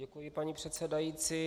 Děkuji, paní předsedající.